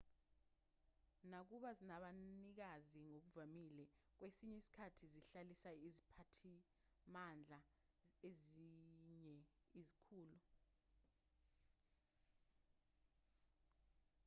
nakuba zinabanikazi ngokuvamile kwesinye isikhathi zihlalisa iziphathimandla nezinye izikhulu